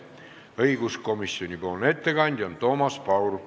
Õiguskomisjoni ettekandja on Toomas Paur.